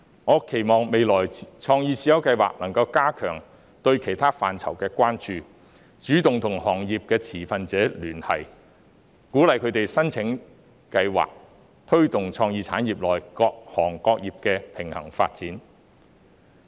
我期望在未來，創意智優計劃能加強對其他範疇的關注，主動與行業持份者聯繫，鼓勵他們申請計劃的資助，以推動創意產業內各行各業的平衡發展。